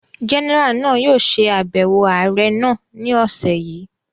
Jẹ́nẹ́rà náà yóò ṣe àbẹ̀wò ààrẹ́ náà ni ọ̀sẹ̀ yìí